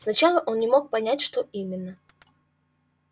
сначала он не мог понять что именно